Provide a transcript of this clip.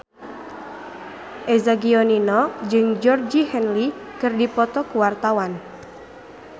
Eza Gionino jeung Georgie Henley keur dipoto ku wartawan